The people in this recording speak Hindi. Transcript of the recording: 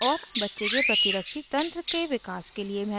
और बच्चे के प्रतिरक्षी तंत्र के विकास के लिए महत्वपूर्ण है